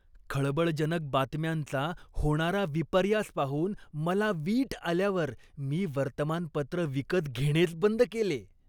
खळबळजनक बातम्यांचा होणारा विपर्यास पाहून मला वीट आल्यावर मी वर्तमानपत्र विकत घेणेच बंद केले.